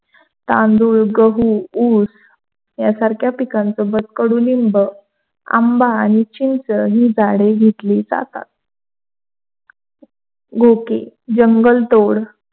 तांदूळ, गहू, उस यासारखा पिकांसोबत कडुलिंब आंबा आणि चिंच ही झाडे घेतली जातात. गोकी जंगल तोड,